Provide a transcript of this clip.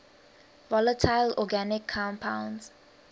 volatile organic compounds